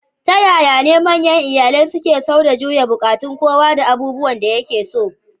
Ta yaya ne manyan iyalai suke sau da juya buƙatun kowa da abubuwan da yake so?